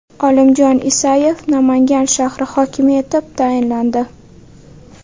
Olimjon Isayev Namangan shahri hokimi etib tayinlandi.